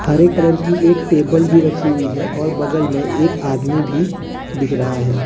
हरे colour की एक table भी रखी हुई है और बगल में एक आदमी भी दिख रहा है।